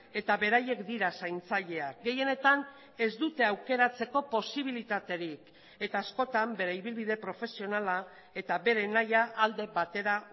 eta beraiek dira zaintzaileak gehienetan ez dute aukeratzeko posibilitaterik eta askotan bere ibilbide profesionala eta bere nahia alde batera